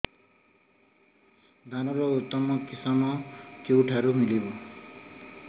ଧାନର ଉତ୍ତମ କିଶମ କେଉଁଠାରୁ ମିଳିବ